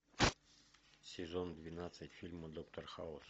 сезон двенадцать фильма доктор хаус